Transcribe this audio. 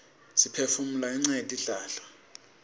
siphefumula ngenca yetihlahla